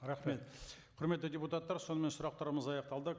рахмет құрметті депутаттар сонымен сұрақтарымыз аяқталды